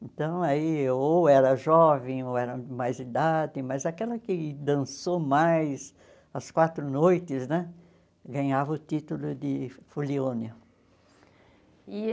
Então, aí ou era jovem, ou era mais idade, mas aquela que dançou mais, as quatro noites né, ganhava o título de fulione. E